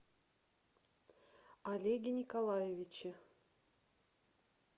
олеге николаевиче